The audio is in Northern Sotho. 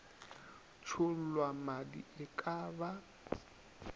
tšhollwa madi e ka ba